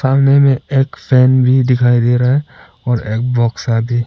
सामने में में एक फैन भी दिखाई दे रहा है और एक बॉक्स आगे--